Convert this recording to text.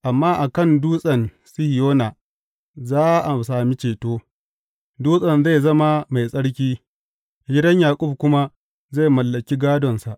Amma a kan Dutsen Sihiyona za a sami ceto; Dutsen zai zama mai tsarki, gidan Yaƙub kuma zai mallaki gādonsa.